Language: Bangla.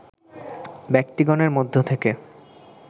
ব্যক্তিগণের মধ্য থেকে